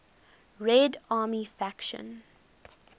red army faction